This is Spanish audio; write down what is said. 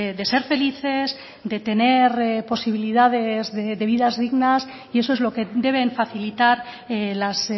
de ser felices de tener posibilidades de vidas dignas y eso es lo que deben facilitar las